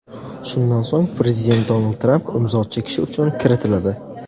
Shundan so‘ng prezident Donald Tramp imzo chekishi uchun kiritiladi.